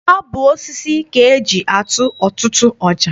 Ọ bụ osisi ka eji atụ ọtụtụ ọja.